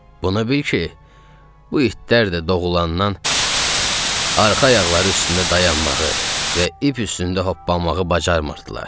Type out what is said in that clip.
Bunu bil ki, bu itlər də doğulandan arxa ayaqları üstündə dayanmağı və ip üstündə hoppanmağı bacarmırdılar.